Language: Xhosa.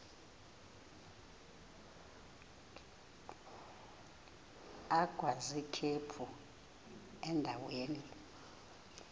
agwaz ikhephu endaweni